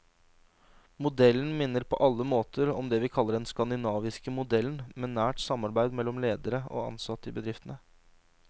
Modellen minner på alle måter om det vi kaller den skandinaviske modellen, med nært samarbeid mellom ledere og ansatte i bedriftene.